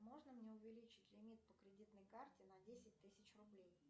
можно мне увеличить лимит по кредитной карте на десять тысяч рублей